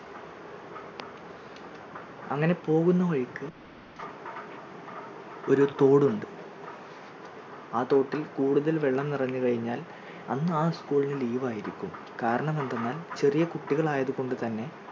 അങ്ങനെ പോകുന്ന വഴിക്ക് ഒരു തോട് ഉണ്ട് ആ തോട്ടിൽ കൂടുതൽ വെള്ളം നിറഞ്ഞു കഴിഞ്ഞാൽ അന്ന് ആ school ന് leave യിരിക്കും. കാരണമെന്തെന്നാൽ ചെറിയ കുട്ടികൾ ആയതു കൊണ്ട് തന്നെ